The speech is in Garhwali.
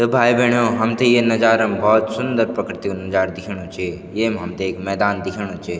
त भाई बैणों हम थे ये नजारा म भोत सुन्दर प्रकृति कु नजारू दिखेणु च येम हमथे एक मैदान दिखेणु च।